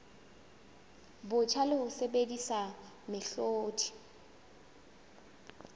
botjha le ho sebedisa mehlodi